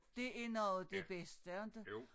Det er noget af det bedste inte